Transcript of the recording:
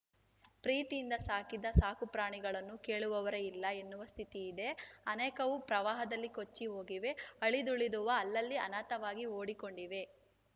ಪ್ರೀತಿಯಿಂದ ಸಾಕಿದ ಸಾಕು ಪ್ರಾಣಿಗಳನ್ನು ಕೇಳುವವರೇ ಇಲ್ಲ ಎನ್ನುವ ಸ್ಥಿತಿ ಇದೆ ಅನೇಕವು ಪ್ರವಾಹದಲ್ಲಿ ಕೊಚ್ಚಿ ಹೋಗಿವೆ ಅಳಿದುಳಿದವು ಅಲ್ಲಲ್ಲಿ ಅನಾಥವಾಗಿ ಓಡಿಕೊಂಡಿವೆ